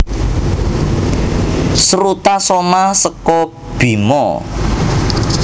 Srutasoma seka Bima